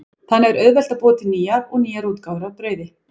Þannig er auðvelt að búa til nýjar og nýjar útgáfur af brauði.